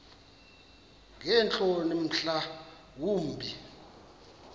ngeentloni mhla wumbi